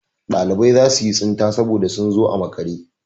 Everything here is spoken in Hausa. Ɗalibai za su yi tsinta saboda sun zo a makare.